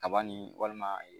Daba nin walima ee.